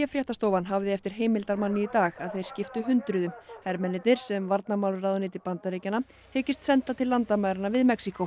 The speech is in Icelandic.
fréttastofan hafði eftir heimildarmanni í dag að þeir skiptu hundruðum hermennirnir sem varnarmálaráðuneyti Bandaríkjanna hyggist senda til landamæranna við Mexíkó